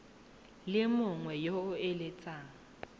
le mongwe yo o eletsang